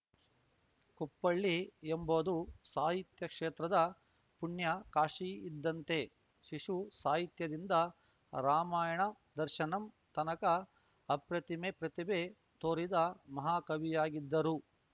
ಕುಪ್ಪಳ್ಳಿ ಎಂಬುದು ಸಾಹಿತ್ಯ ಕ್ಷೇತ್ರದ ಪುಣ್ಯಕಾಶಿ ಇದ್ದಂತೆ ಶಿಶು ಸಾಹಿತ್ಯದಿಂದ ರಾಮಾಯಣ ದರ್ಶನಂ ತನಕ ಅಪ್ರತಿಮೆ ಪ್ರತಿಭೆ ತೋರಿದ ಮಹಾಕವಿಯಾಗಿದ್ದರು